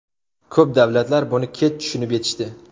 Ko‘p davlatlar buni kech tushunib yetishdi.